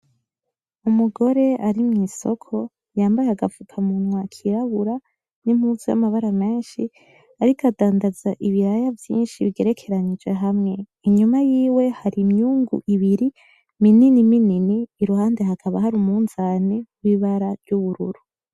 Umugore ari mw'isoko yambaye agapfukamunwa kirabura n'impuzu y'amabara menshi, ariko adandaza ibiraya vyinshi bigerekeranije hamwe. Inyuma yiwe hari imyungu ibiri minini minini, iruhande hakaba hari umunzane w'ibara ry'ubururu.